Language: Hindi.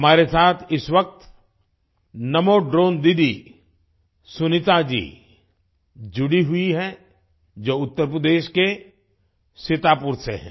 हमारे साथ इस वक्त नमो ड्रोन दीदी सुनीता जी जुड़ी हुई हैं जो उत्तर प्रदेश के सीतापुर से है